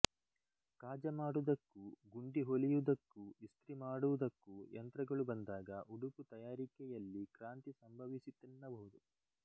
ಕಾಜ ಮಾಡುವುದಕ್ಕೂ ಗುಂಡಿ ಹೊಲಿಯುವುದಕ್ಕೂ ಇಸ್ತ್ರಿ ಮಾಡುವುದಕ್ಕೂ ಯಂತ್ರಗಳು ಬಂದಾಗ ಉಡುಪು ತಯಾರಿಕೆಯಲ್ಲಿ ಕ್ರಾಂತಿ ಸಂಭವಿಸಿತೆನ್ನಬಹುದು